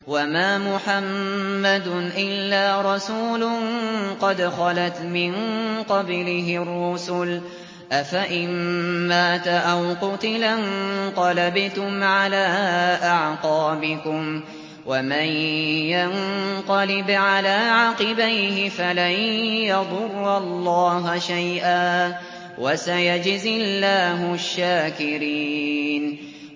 وَمَا مُحَمَّدٌ إِلَّا رَسُولٌ قَدْ خَلَتْ مِن قَبْلِهِ الرُّسُلُ ۚ أَفَإِن مَّاتَ أَوْ قُتِلَ انقَلَبْتُمْ عَلَىٰ أَعْقَابِكُمْ ۚ وَمَن يَنقَلِبْ عَلَىٰ عَقِبَيْهِ فَلَن يَضُرَّ اللَّهَ شَيْئًا ۗ وَسَيَجْزِي اللَّهُ الشَّاكِرِينَ